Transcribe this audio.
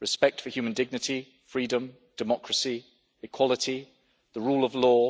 respect for human dignity, freedom, democracy, equality, the rule of law,